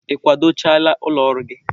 Ị kwado chaala ụlọ ọrụ gị?